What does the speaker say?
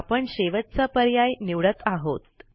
आपण शेवटचा पर्याय निवडत आहोत